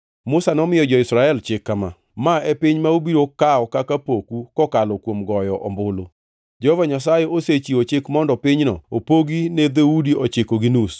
Musa nomiyo jo-Israel chik kama: “Ma e piny ma ubiro kawo kaka poku kokalo kuom goyo ombulu. Jehova Nyasaye osechiwo chik mondo pinyno opogi ne dhoudi ochiko gi nus,